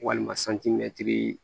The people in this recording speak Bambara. Walima